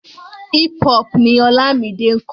Hip hop ni Ọlámide ń kọ.